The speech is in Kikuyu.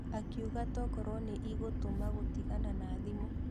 Akiuga tokorwo nĩ ĩgũtũma gũtigana na thimũ.